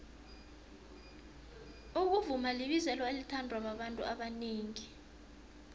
ukuvuma libizelo elithandwa babantu abanengi